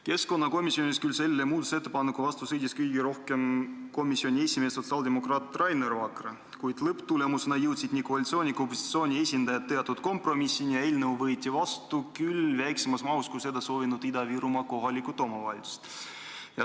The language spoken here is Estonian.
Keskkonnakomisjonis sõdis selle muudatusettepaneku vastu kõige rohkem komisjoni esimees sotsiaaldemokraat Rainer Vakra, kuid lõpptulemusena jõudsid koalitsiooni ja opositsiooni esindajad teatud kompromissile ja eelnõu võeti vastu, küll väiksemas mahus, kui olid soovinud Ida-Virumaa kohalikud omavalitsused.